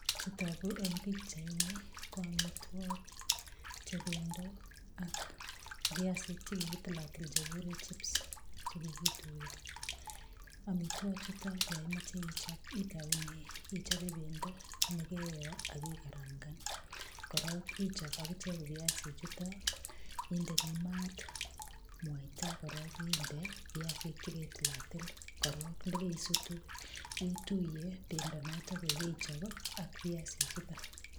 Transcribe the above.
Chutogu eng pichaini ko amitwagik che pendo ak viasik chekakitilatil komengegitu chekigure chips, chekikituiyo. Amitwachu yo omoche ichop itaune ichope pendo nekaiyo ak igarankan. Korok ichop ikichek viasichutok, indeni maat mwaita korok inde viasik cheketilatil. Korok ndakaisutu ituiye pendo notok kakaichop ak viasichutok.